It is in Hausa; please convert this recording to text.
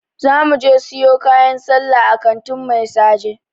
Za .muje siyo kayan sallah a kantin Mai saje.